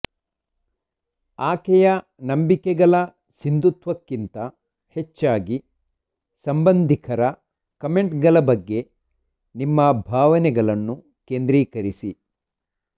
ಆಕೆಯ ನಂಬಿಕೆಗಳ ಸಿಂಧುತ್ವಕ್ಕಿಂತ ಹೆಚ್ಚಾಗಿ ಸಂಬಂಧಿಕರ ಕಾಮೆಂಟ್ಗಳ ಬಗ್ಗೆ ನಿಮ್ಮ ಭಾವನೆಗಳನ್ನು ಕೇಂದ್ರೀಕರಿಸಿ